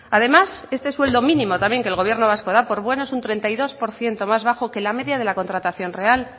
además este sueldo mínimo también que el gobierno vasco da por bueno es un treinta y dos por ciento más bajo que la media de la contratación real